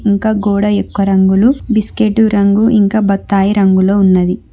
ఇంకా గోడ యొక్క రంగులు బిస్కెట్ రంగు ఇంకా బత్తాయ రంగులో ఉన్నది.